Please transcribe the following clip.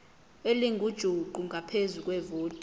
elingujuqu ngaphezu kwevoti